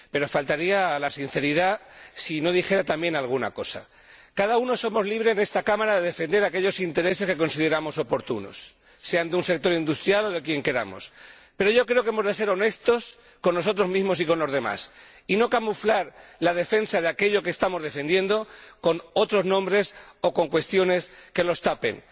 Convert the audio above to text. Pero faltaría a la sinceridad si no dijera también alguna cosa cada uno somos libres en esta Cámara de defender aquellos intereses que consideramos oportunos, sean de un sector industrial o de quien queramos, pero yo creo que hemos de ser honestos con nosotros mismos y con los demás, y no camuflar la defensa de aquello que estamos defendiendo con otros nombres o con cuestiones que los tapen.